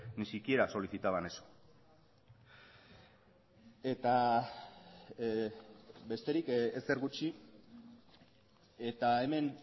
ni siquiera solicitaban eso eta besterik ezer gutxi eta hemen